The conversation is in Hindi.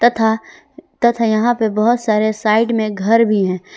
तथा तथा यहां पे बहोत सारे साइड में घर भी हैं।